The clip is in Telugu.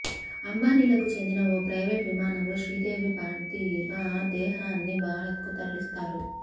అంబానీలకు చెందిన ఓ ప్రైవేటు విమానంలో శ్రీదేవి పార్థీవ దేహాన్ని బారత్కు తరలిస్తారు